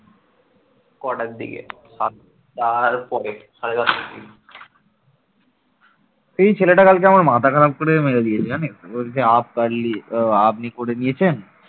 এই ছেলেটা কালকে আমার মাথা খারাপ করে মেরে দিয়েছে জানিস বলছে অফ পারলি আপনি করে নিয়েছেন